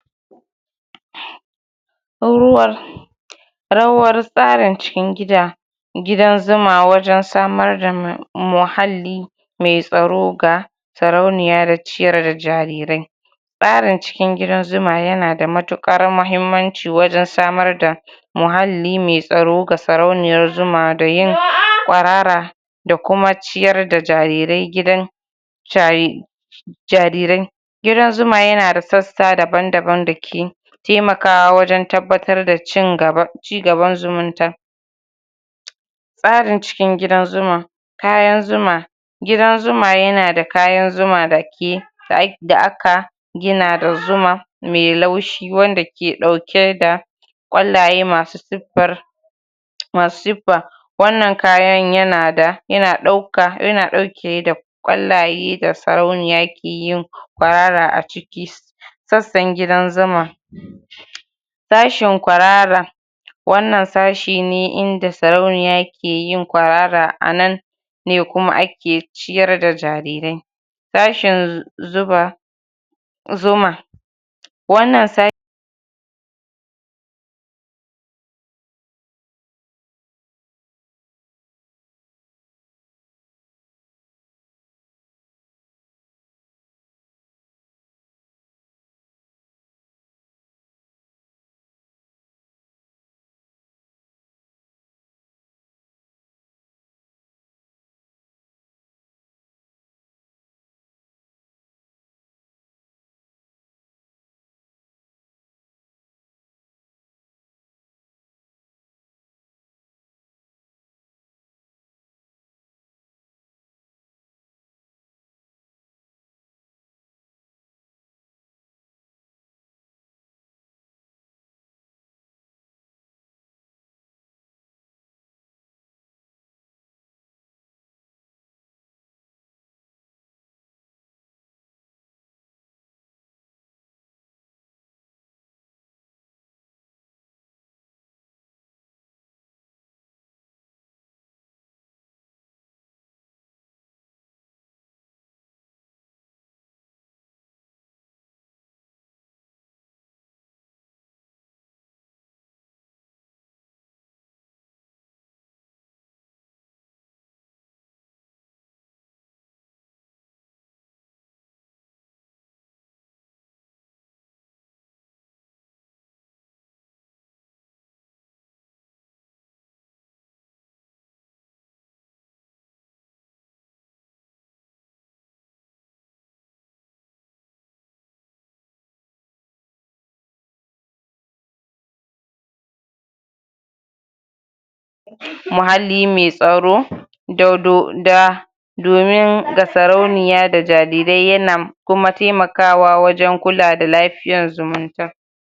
rawar tsarin cikin gida gidan zuma wajen samar da muhalli mai tsaro ga sarauniya da ciyar da jarirai tsarin cikin gidan zuma yana matuƙar mahimmanci wajen samar da muhalli mai tsaro ga sarauniyar zuma da yin kwarara da kuma ciyar da jarirai gidan jarirai gidan zuma yana da sassa daban-daban dake taimakawa wajen tabbatar da cin gaba cigaban zumunta tsarin cikin gidan zuma kayan zuma gidan zuma yana da kayan zuma dake da da aka gina da zuma mai laushi wanda ke ɗauke da kwallaye masu siffar masu siffa wanna kayan yanada yana ɗauka yana ɗauke da kwallaye da sarauniya keyin kwarara a ciki sassan gidan zuma sashin kwarara wannan sashi ne inda sarauniya keyi kwarara a nan ne kuma ake ciyar da jarirai. sashen zuba zuma wannan sashe muhalli mai tsaro da do da domin ga sarauniya da jarirai yana kuma taimakawa wajen kula da lafiyar zumunta.